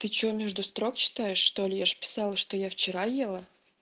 ты что между строк читаешь что ли я же писала что я вчера ела